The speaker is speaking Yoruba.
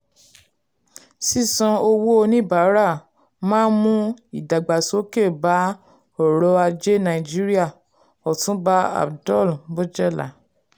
sísan owó oníbàárà máa mú ìdàgbàsókè bá ọrọ̀ ajé nàìjíríà - otunba abdul-bojela.